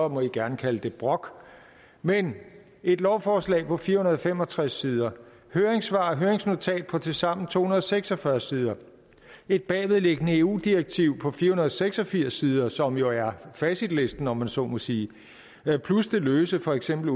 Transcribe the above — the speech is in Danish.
man gerne kalde det brok men et lovforslag på fire hundrede og fem og tres sider høringssvar og høringsnotat på tilsammen to hundrede og seks og fyrre sider et bagvedliggende eu direktiv på fire hundrede og seks og firs sider som jo er facitlisten om man så må sige plus det løse for eksempel